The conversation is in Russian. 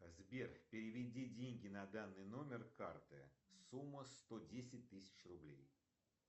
сбер переведи деньги на данный номер карты сумма сто десять тысяч рублей